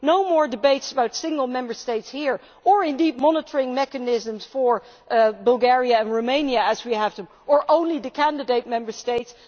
There would be no more debates about single Member States here, or indeed monitoring mechanisms for Bulgaria and Romania as we have them, or only the candidate Member States.